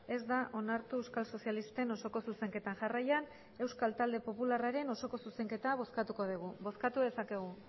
ez da onartu euskal sozialisten osoko zuzenketa jarraian euskal talde popularraren osoko zuzenketa bozkatuko dugu bozkatu dezakegu